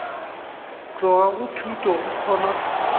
tloga go thuto go kgona